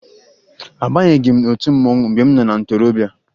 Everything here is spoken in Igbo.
Abanyeghi m otu mmanwụ mgbe m nọ na ntorobịa